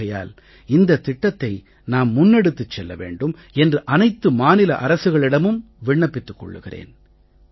ஆகையால் இந்தத் திட்டத்தை நாம் முன்னெடுத்துச் செல்ல வேண்டும் என்று அனைத்து மாநில அரசுகளிடமும் விண்ணப்பத்துக் கொள்கிறேன்